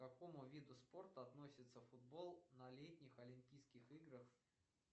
к какому виду спорта относится футбол на летних олимпийских играх